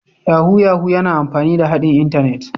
Yahoo Yahoo yana amfani da haɗin Intanet